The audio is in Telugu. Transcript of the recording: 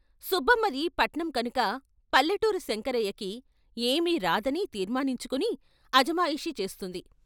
సుబ్బమ్మది పట్నం కనుక పల్లె టూరు శంకరయ్యకి ఏమీ రాదని తీర్మానించుకుని అజమాయిషీ చేస్తుంది.